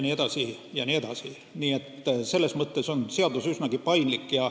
Nii et seadus on selles mõttes üsnagi paindlik.